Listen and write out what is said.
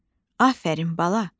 Afərin bala!